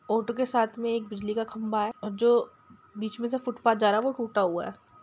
Auto के साथ में एक बिजली का खम्भा है जो बीच में से फुटपाथ जा रहा है वो टुटा हुआ है।